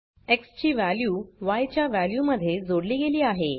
x ची value yच्या value मध्ये जोडली गेली आहे